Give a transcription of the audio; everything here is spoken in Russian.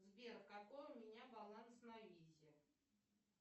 сбер какой у меня баланс на визе